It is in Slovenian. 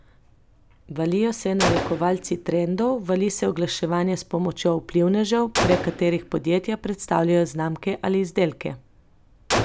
Valijo se narekovalci trendov, vali se oglaševanje s pomočjo vplivnežev, prek katerih podjetja predstavljajo znamke ali izdelke.